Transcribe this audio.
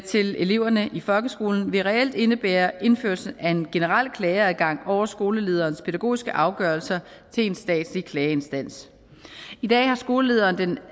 til eleverne i folkeskolen vil reelt indebære indførelse af en generel klageadgang over skolelederens pædagogiske afgørelser til en statslig klageinstans i dag har skolelederen den